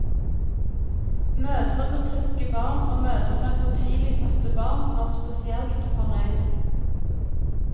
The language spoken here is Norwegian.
Mødre med friske barn, og mødre med for tidlig fødte barn, var spesielt fornøyd.